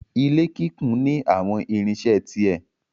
Ilé kíkún ní àwọn irinṣẹ́ ti ẹ̀.